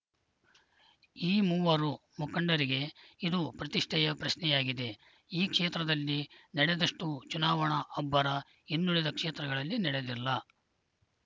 ಈ ಮೂವರು ಮುಖಂಡರಿಗೆ ಇದು ಪ್ರತಿಷ್ಠೆಯ ಪ್ರಶ್ನೆಯಾಗಿದೆ ಈ ಕ್ಷೇತ್ರದಲ್ಲಿ ನಡೆದಷ್ಟು ಚುನಾವಣಾ ಅಬ್ಬರ ಇನ್ನುಳಿದ ಕ್ಷೇತ್ರಗಳಲ್ಲಿ ನಡೆದಿಲ್ಲ